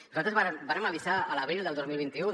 nosaltres vàrem avisar l’abril del dos mil vint u